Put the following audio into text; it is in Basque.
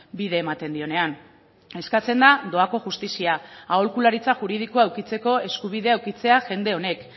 bide ematen dionean eskatzen da doako justizia aholkularitza juridikoa edukitzeko eskubidea edukitzea jende honek